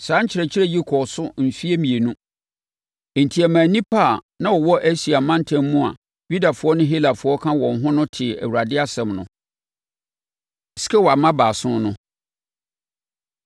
Saa nkyerɛkyerɛ yi kɔɔ so mfeɛ mmienu; enti ɛmaa nnipa a na wɔwɔ Asia mantam mu a Yudafoɔ ne Helafoɔ ka ho no tee Awurade asɛm no. Skewa Mma Baason No